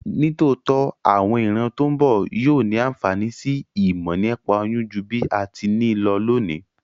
Nítòótó, àwon ìran to n bo yio ni ànfàní si ìmò nípa oyún ju bí a ti ni lo lónìí